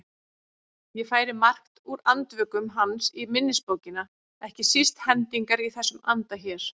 Ég færi margt úr Andvökum hans í minnisbókina, ekki síst hendingar í þessum anda hér